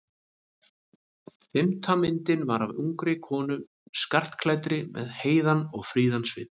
Fimmta myndin var af ungri konu skartklæddri með heiðan og fríðan svip.